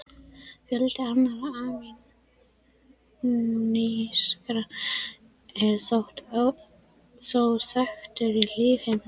Fjöldi annarra amínósýra er þó þekktur í lífheiminum.